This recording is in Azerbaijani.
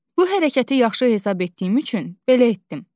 Bu hərəkəti yaxşı hesab etdiyim üçün belə etdim.